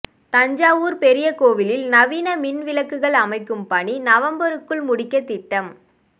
தஞ்சாவூா் பெரியகோயிலில் நவீன மின் விளக்குகள் அமைக்கும் பணி நவம்பருக்குள் முடிக்கத் திட்டம்